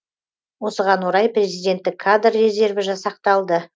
осыған орай президенттік кадр резерві жасақталды